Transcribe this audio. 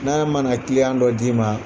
N'a mana dɔ d'i ma